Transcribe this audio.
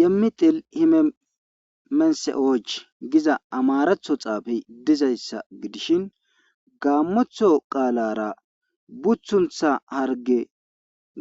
Yemmi xil himemense,och giza amaratho xaafe dizayssa gidishin gaammotho qaalara buthuntha harge